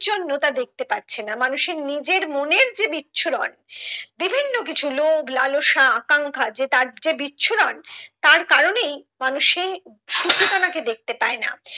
জন্য তা দেখতে পাচ্ছে না মানুষের নিজের মনের যে বিচ্ছুরণ বিভিন্ন কিছু লোভ লালসা আকাঙ্খা যে তার যে বিচ্ছুরণ তার কারণেই মানুষ সেই সুচেতনাকে দেখতে পায় না